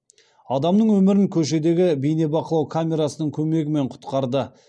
адамның өмірін көшедегі бейнебақылау камерасының көмегімен құтқарды